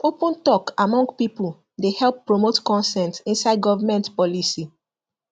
open talk among people dey help promote consent inside government policy